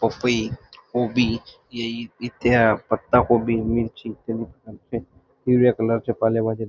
पपई कोबी ये इथे पत्ताकोबी मिरची इत्यादि प्रकारचे हिरव्या कलरच्या पालेभाज्या --